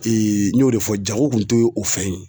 n y'o de fɔ jago kun tɛ o fɛn ye.